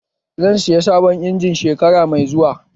Zan saya sabon injin shekara mai zuwa